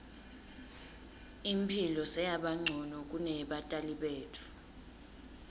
imphilo seyabancono kuneyebatali betfu